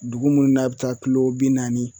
Dugu munnu n'a bɛ taa kilo bi naani